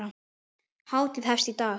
Hátíðin hefst í dag.